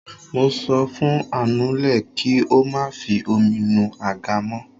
Mo sọ fún anule kí ó má fi omi nu àga mó.